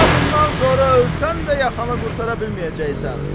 Daha bundan sonra ölsən də yaxanı qurtara bilməyəcəksən.